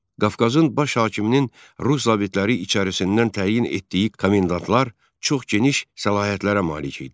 Qafqazın baş hakiminin rus zabitləri içərisindən təyin etdiyi komendantlar çox geniş səlahiyyətlərə malik idilər.